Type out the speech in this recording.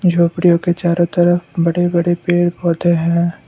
झोंपड़ियों के चारों तरफ बड़े बड़े पेड़ पौधे हैं।